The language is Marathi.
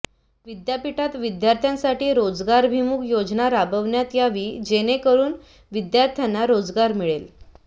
विद्यापीठात विद्यार्थांसाठी रोजगारभिमुख योजना राबवण्यात यावी जनेकरून विद्यार्थांना रोजगार मिळेल